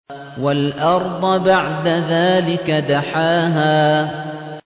وَالْأَرْضَ بَعْدَ ذَٰلِكَ دَحَاهَا